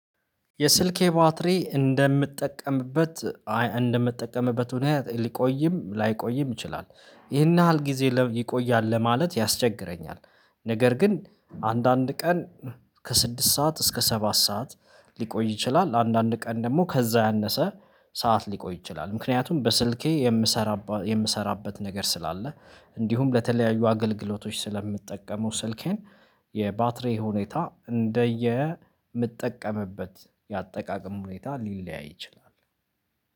የስልኬ ባትሪ እንደምትጠቀምበት እንደምትጠቀምበት ምክንያት ሊቆይም ላይቆይም ይችላል ይሄን ያህል ጊዜ ይቆያል ለማለት ያስቸግረኛል። ነገር ግን አንዳንድ ቀን ከስድስት ሰዓት እስከ ሰባት ሰዓት ሊቆይ ይችላል። አንዳንድ ቀን ደግሞ ከዛ ያነሰ ሰዓት ሊቆይ ይችላል። ምክንያቱም በስልኬ የምሰራበት ነገር ስላለ እንዲሁም ለተለያዩ አገልግሎቶች ስለምትጠቀሙ ስልኬን። የባትሪ ሁኔታ እንደየ ምጠቀምበት የአጠቃቀም ሁኔታ ሊለያይ ይችላል።